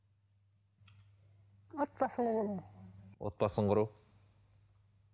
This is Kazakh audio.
отбасын құру отбасын құру